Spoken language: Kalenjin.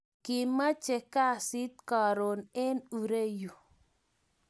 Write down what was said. Kimache kasit karun en ironyu